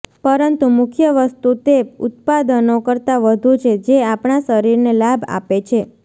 પરંતુ મુખ્ય વસ્તુ તે ઉત્પાદનો કરતાં વધુ છે જે આપણા શરીરને લાભ આપે છે